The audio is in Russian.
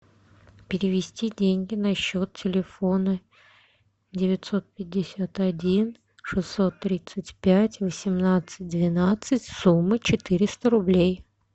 перевести деньги на счет телефона девятьсот пятьдесят один шестьсот тридцать пять восемнадцать двенадцать сумма четыреста рублей